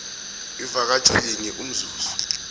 ivakatjho linye umzuzi